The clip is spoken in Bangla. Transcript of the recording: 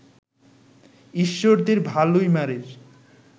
ঈশ্বরদীর ভালুইমারির